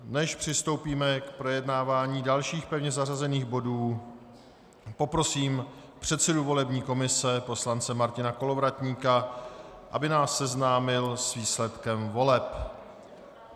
Než přistoupíme k projednávání dalších pevně zařazených bodů, poprosím předsedu volební komise poslance Martina Kolovratníka, aby nás seznámil s výsledkem voleb.